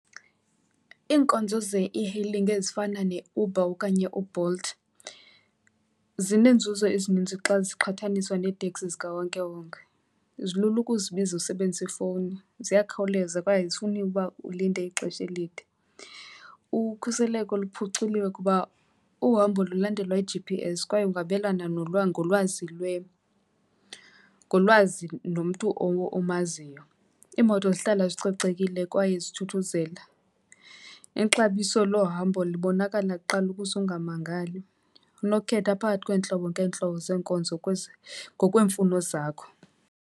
Iinkonzo ze-e-hailing ezifana neUber okanye uBolt zineenzuzo ezinintsi xa ziqhataniswa neeteksi zikawonkewonke. Zilula ukuzibiza usebenzisa ifowuni, ziyakhawuleza kwaye azifuni uba ulinde ixesha elide. Ukhuseleko luphuculiwe kuba uhambo lulandelwa yi-G_P_S kwaye ungabelana ngolwazi , ngolwazi nomntu omaziyo. Iimoto zihlala zicocekile kwaye zithuthuzela. Ixabiso lohambo libonakala kuqala ukuze ungamangali. Unokukhetha phakathi kweentlobo ngeentlobo zeenkonzo ngokweemfuno zakho.